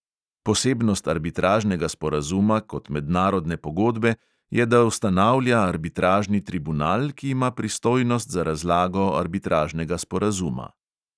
Posebnost arbitražnega sporazuma kot mednarodne pogodbe je, da ustanavlja arbitražni tribunal, ki ima pristojnost za razlago arbitražnega sporazuma.